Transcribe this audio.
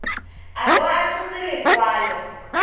a bo a tshotse lekwalo